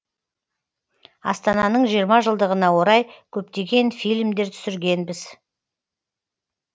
астананың жиырма жылдығына орай көптеген фильмдер түсіргенбіз